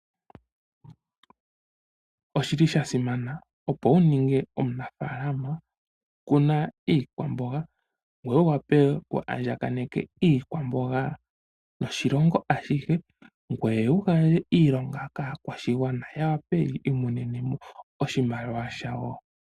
Oshili shasimana opo wuninge omunafaalama, kuna iikwamboga ngoye wuwape wu andjakaneke iikwamboga noshilongo ashihe, ngoye wugandje iilonga kaakwashigwana yawape yiimonenemo oshimaliwa shawo.